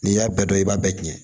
N'i y'a bɛɛ dɔn i b'a bɛɛ tiɲɛ